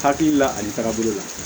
Hakili la ani tagabolo la